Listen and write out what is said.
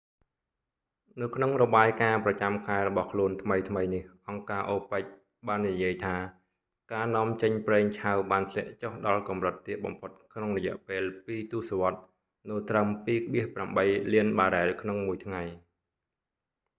នៅក្នុងរបាយការណ៍ប្រចាំខែរបស់ខ្លួនថ្មីៗនេះ អង្គការ opec បាននិយាយថា ការនាំចេញប្រេងឆៅបានធ្លាក់ចុះដល់កម្រិតទាបបំផុតក្នុងរយៈពេលពីរទសវត្សរ៍ នៅត្រឹម 2,8 លានបារ៉ែលក្នុងមួយថ្ងៃ